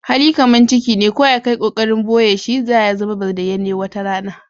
Hali kaman ciki ne, ko ya ka yi kokarin boye shi, za ya zama bayanane wata rana.